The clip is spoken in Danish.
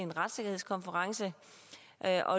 at